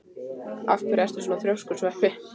Af hverju ertu svona þrjóskur, Sveppi?